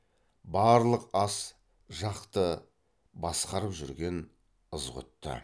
барлық ас жақты басқарып жүрген ызғұтты